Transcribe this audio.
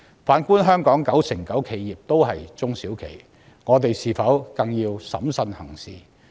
反觀香港九成九企業也是中小企，我們是否更要審慎行事？